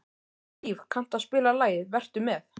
Hlíf, kanntu að spila lagið „Vertu með“?